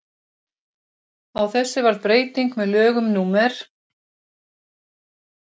á þessu varð breyting með lögum númer